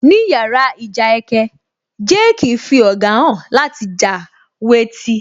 Ní yàrá ìjà ẹkẹ, Jake fí ọ̀gá hàn láti já wé tí